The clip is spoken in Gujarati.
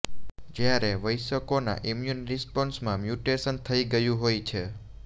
જ્યારે વયસ્કોના ઈમ્યૂન રિસ્પોન્સમાં મ્યૂટેશન થઈ ગયું હોય છે